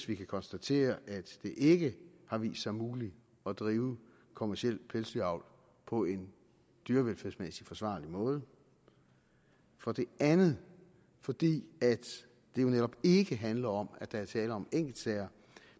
vi kan konstatere at det ikke har vist sig muligt at drive kommerciel pelsdyravl på en dyrevelfærdsmæssigt forsvarlig måde for det andet fordi det jo netop ikke handler om at der er tale om enkeltsager